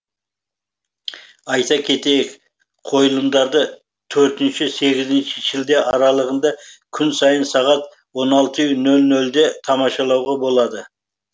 айта кетейік қойылымдарды төртінші сегізінші шілде аралығында күн сайын сағат он алты нөл нөлде тамашалауға болады